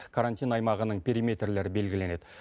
карантин аймағының периметрлері белгіленеді